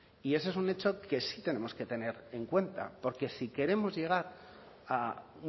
y eso es un hecho que sí tenemos que tener en cuenta porque si queremos llegar a